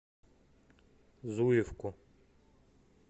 зуевку